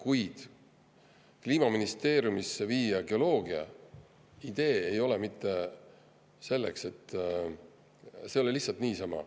Kuid idee viia geoloogia Kliimaministeeriumisse ei ole mitte selle eesmärgiga, see ei ole lihtsalt niisama.